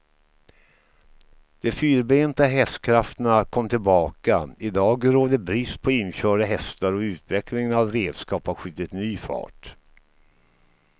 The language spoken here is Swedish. De fyrbenta hästkrafterna kom tillbaka, idag råder brist på inkörda hästar och utvecklingen av redskap har skjutit ny fart.